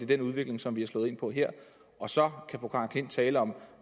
den udvikling som vi har slået ind på her og så kan fru karen j klint tale om